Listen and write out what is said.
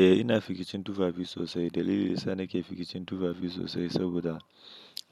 Eh ina fificin tufafi sosai. Dalili sa nake fificin tufafi sosai saboda